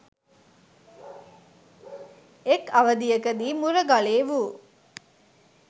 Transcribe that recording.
එක් අවධියකදී මුරගලේ වු